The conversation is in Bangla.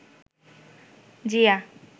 জিয়া